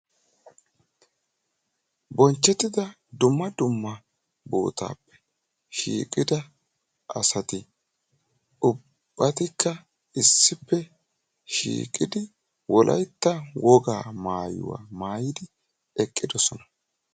Bonchchettidda dumma dumma darosappe shiiqqidda asatti wolaytta wogaa maayuwa maayiddi eqqiddosonna.